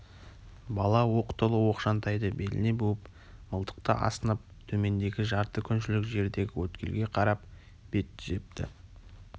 бала оқ толы оқшантайды беліне буып мылтықты асынып төмендегі жарты күншілік жердегі өткелге қарап бет түзепті